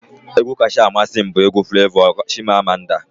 Egwu kacha amasị m bụ egwu Flevọ 'Chimamanda'